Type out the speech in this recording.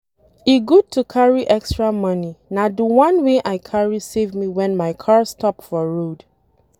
E good to carry extra money, na the one wey I carry save me wen my car stop for road